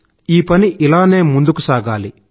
ఈ పని ఇలానే ముందుకు సాగాలి